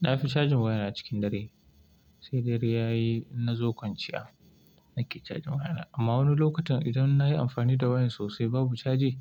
Na fi cajin waya na cikin dare, sai dare ya yi na zo kwanciya nake cajin waya na. Amma wani lokacin idan na yi amfani da wayan sosai babu caji,